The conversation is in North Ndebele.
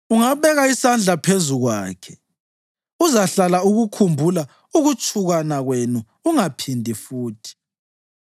Ungabeka isandla phezu kwakhe, uzahlala ukukhumbula ukutshukana kwenu ungaphindi futhi!